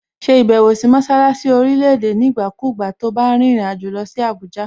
Ṣe ìbẹ̀wò sí mọṣálásí orílẹ̀-èdè nígbàkúùgbà to bá rìnrìn àjò lọ sí Àbújá!